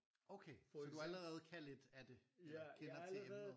Okay så du allerede kan lidt af det eller kender til emnet